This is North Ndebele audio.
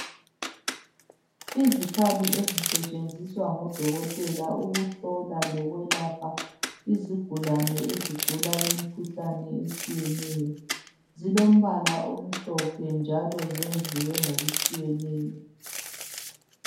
Izikhali ezisetshenziswa ngodokotela ukuhlola lokwelapha izigulani ezigula umkhuhlane owehlukeneyo zilombala omhlophe njalo zenziwe ngokutshiyeneyo